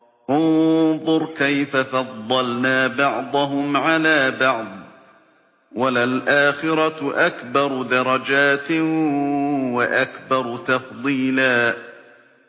انظُرْ كَيْفَ فَضَّلْنَا بَعْضَهُمْ عَلَىٰ بَعْضٍ ۚ وَلَلْآخِرَةُ أَكْبَرُ دَرَجَاتٍ وَأَكْبَرُ تَفْضِيلًا